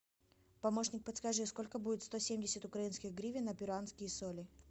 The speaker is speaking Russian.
помощник подскажи сколько будет сто семьдесят украинских гривен на перуанские соли